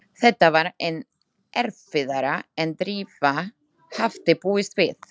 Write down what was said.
Þetta var enn erfiðara en Drífa hafði búist við.